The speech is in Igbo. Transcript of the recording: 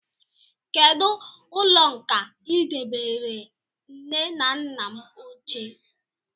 Kedụ ụlọ nkà I debanyere nne na nna m ochie?